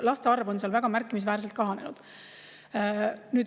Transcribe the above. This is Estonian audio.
Laste arv on seal väga märkimisväärselt kahanenud.